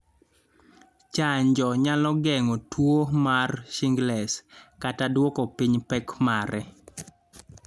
Chanjo nyalo geng'o tuo mar shingles kata duoko piny pek mare.